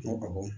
Ko awɔ